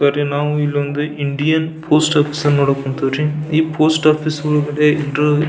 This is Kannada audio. ಬರಿ ನಾವು ಇಲ್ಲಿ ಒಂದು ಇಂಡಿಯನ್ ಪೋಸ್ಟ್ ಆಫೀಸ್ ನೋಡಕ್ ಹೊಂತೀವ್ರಿ ಈ ಪೋಸ್ಟ್ ಆಫೀಸ್ ಒಳಗಡೆ ಒಂದು --